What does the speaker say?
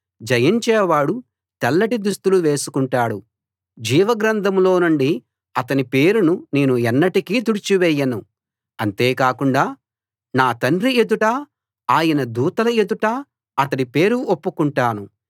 జయించేవాడు తెల్లటి దుస్తులు వేసుకుంటాడు జీవగ్రంథంలో నుండి అతని పేరును నేను ఎన్నటికీ తుడిచివేయను అంతే కాకుండా నా తండ్రి ఎదుటా ఆయన దూతల ఎదుటా అతడి పేరు ఒప్పుకుంటాను